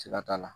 Siga t'a la